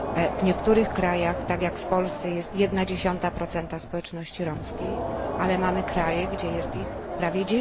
W niektórych krajach, tak jak w Polsce, jest 0,1 społeczności romskiej, ale mamy kraje, gdzie jest ich prawie